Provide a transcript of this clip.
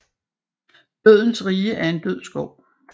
Dødens rige er en død skov